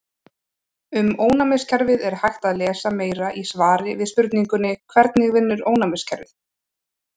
Um ónæmiskerfið er hægt að lesa meira í svari við spurningunni Hvernig vinnur ónæmiskerfið?